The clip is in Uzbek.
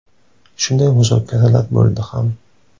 Shunday muzokaralar bo‘ldi ham.